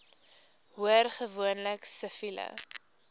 hoor gewoonlik siviele